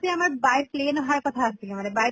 তে আমাৰ by plane অহাৰ কথা আছিলে মানে by